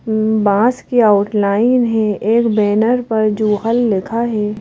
बांस की आउटलाइन है एक बैनर पर जूगल लिखा है।